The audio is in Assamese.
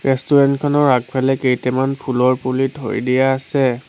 ৰেষ্টুৰেণ্ট খনৰ আগফালে কেইটামান ফুলৰ পুলি থৈ দিয়া আছে।